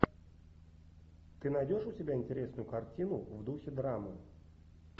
ты найдешь у себя интересную картину в духе драмы